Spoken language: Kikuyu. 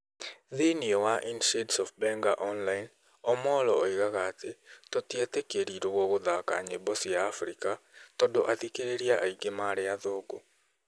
Thĩĩni wa In Shades of Benga Online Omollo oigaga atĩ "tũtietĩkĩrirwo gũthaka nyĩmbo cia abirika"tondũ athikĩrĩria aingĩ marĩ athũngũ.